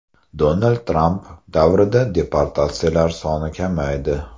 Donald Tramp davrida deportatsiyalar soni kamaydi.